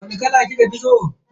Wani kala kika fi so?